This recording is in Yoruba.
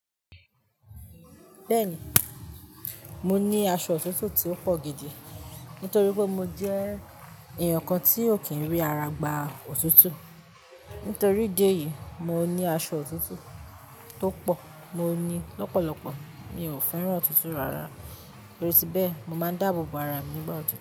Bẹ́ẹ̀ni, mo ní aṣọ òtútù tí ó pọ̀ gidi nítorí pé mo jẹ́ èèyàn kan tí ò kí n rí ara gba òtútù. Nítorí idi eyìí, mo ní aṣọ òtútù tó pọ̀, mo ní lọ́pọ̀lọ́pọ̀. Mi ò fẹ́ràn òtútù rárá, torí bẹ̀ mo máa ń dáàbò bo ara mi nígbà òtútù.